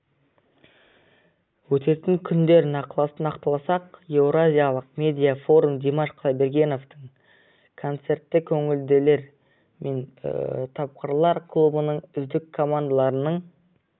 өтетін күндер нақтыласақ еуразиялық медиа форум димаш құдайбергеновтың концерті көңілділер мен тапқырлар клубының үздік командаларының